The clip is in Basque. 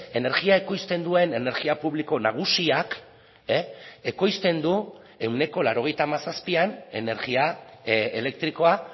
energia ekoizten duen energia publiko nagusiak ekoizten du ehuneko laurogeita hamazazpian energia elektrikoa